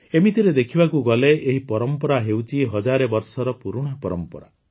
ଏମିତିରେ ଦେଖିବାକୁ ଗଲେ ଏହି ପରମ୍ପରା ହେଉଛି ହଜାରେ ବର୍ଷର ପୁରୁଣା ପରମ୍ପରା